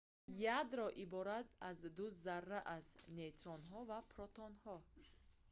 ядро иборат аз ду зарра аст нейтронҳо ва протонҳо